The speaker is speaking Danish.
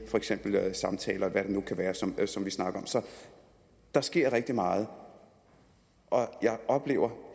samtaler eller hvad det nu kan være som som vi snakker om så der sker rigtig meget og jeg oplever